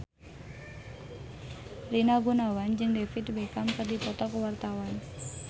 Rina Gunawan jeung David Beckham keur dipoto ku wartawan